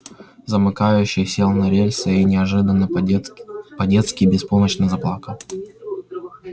замыкающий сел на рельсы и неожиданно по-детски по-детски беспомощно заплакал